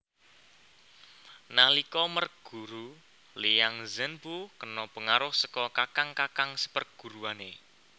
Nalika merguru Liang Zhenpu kena pengaruh saka kakang kakang seperguruane